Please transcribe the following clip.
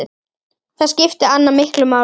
Þar skipti Anna miklu máli.